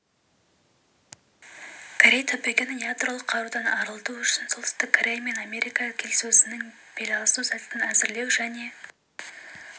корей түбегін ядролық қарудан арылту үшін солтүстік корея мен америка келіссөзінің беласу сәтін әзірлеу және